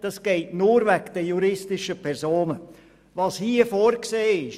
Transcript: Das ist nur wegen den juristischen Personen möglich.